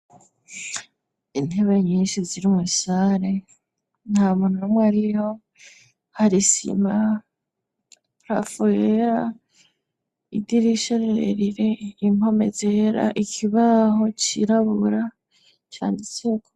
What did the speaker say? Inteba nyinshi ziri umusare nta muntu umwe ariho harisima prafuela idirisharerire inkome zera ikibaho cirabura cane isuko.